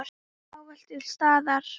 Ávallt til staðar.